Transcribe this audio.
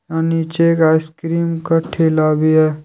हां नीचे एक आइसक्रीम का ठेला भी है।